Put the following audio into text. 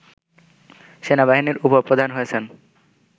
সেনাবাহিনীর উপ-প্রধান হয়েছেন